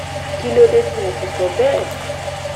kí ló dé tí mo fi sọ bẹ́ẹ̀